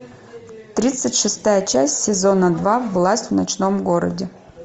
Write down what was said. тридцать шестая часть сезона два власть в ночном городе